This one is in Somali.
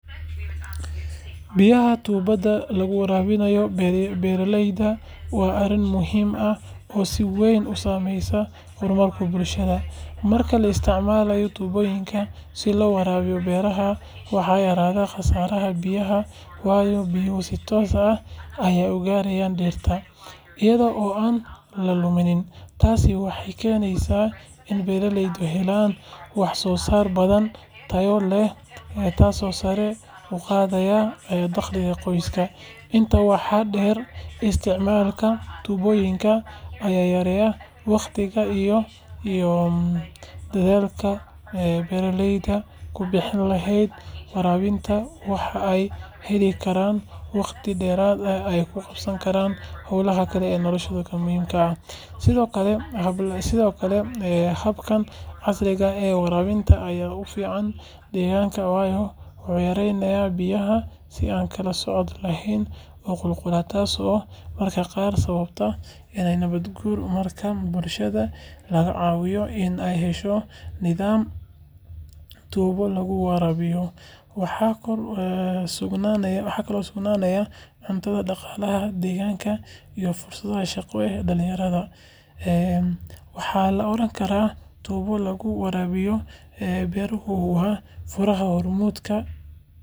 Biyaha tuubada lagu waraabiyo beeraleyda waa arrin muhiim ah oo si weyn u saameysa horumarka bulshada. Marka la isticmaalo tuubooyin si loo waraabiyo beeraha, waxaa yaraada khasaaraha biyaha, waayo biyuhu si toos ah ayay uga gaaraan dhirta, iyada oo aan la lumin. Tani waxay keeneysaa in beeraleydu helaan wax-soosaar badan oo tayo leh, taasoo sare u qaadeysa dakhliga qoysaska. Intaa waxaa dheer, isticmaalka tuubooyinka ayaa yareeya waqtiga iyo dadaalka beeraleydu ku bixin lahaayeen waraabinta, waxaana ay heli karaan waqti dheeraad ah oo ay ku qabtaan howlaha kale ee nolosha muhiimka ah. Sidoo kale, habkan casriga ah ee waraabinta ayaa u fiican deegaanka, waayo wuxuu yareeyaa biyaha si aan kala sooc lahayn u qulqulaya, taasoo mararka qaar sababi karta nabaad-guur. Marka bulshada laga caawiyo in ay hesho nidaam tuubo lagu waraabiyo, waxaa kordha sugnaanta cuntada, dhaqaalaha deegaanka, iyo fursadaha shaqo ee dhalinyarada. Waxaa la oran karaa, tuubo lagu waraabiyo beeruhu waa furaha horumar.